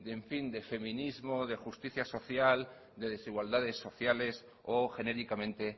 de en fin de feminismo o de justicia social de desigualdades sociales o genéricamente